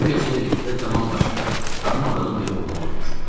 Bu gecə liftə tamam başqa, tanımadığım bir oğlan durmuşdu.